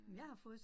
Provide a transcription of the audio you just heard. Øh